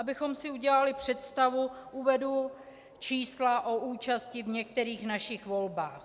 Abychom si udělali představu, uvedu čísla o účasti v některých našich volbách.